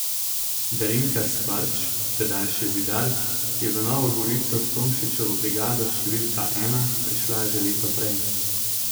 Darinka Škvarč, tedaj še Zidar, je v Novo Gorico s Tomšičevo brigado številka ena prišla že leto prej.